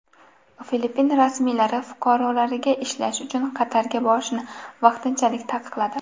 Filippin rasmiylari fuqarolariga ishlash uchun Qatarga borishni vaqtinchalik taqiqladi.